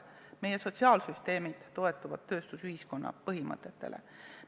Meie sotsiaalsüsteemid toetuvad tööstusühiskonna põhimõtetele.